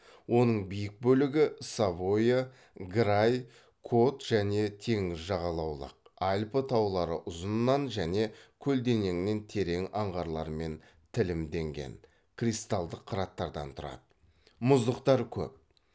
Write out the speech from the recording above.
оның биік бөлігі савойя грай кот және теңіз жағалаулық альпі таулары ұзынынан және көлденеңінен терең аңғарлармен тілімденген кристалдық қыраттардан тұрады мұздықтар көп